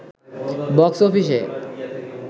box অফিসে